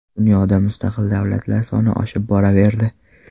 Dunyoda mustaqil davlatlar soni oshib boraverdi.